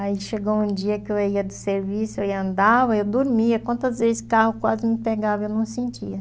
Aí chegou um dia que eu ia do serviço, eu ia andar, eu dormia, quantas vezes o carro quase me pegava, eu não sentia.